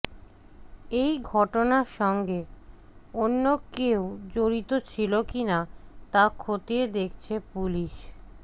এই ঘটনার সঙ্গে অন্য কেউ জড়িত ছিল কি না তা খতিয়ে দেখছে পুলিশ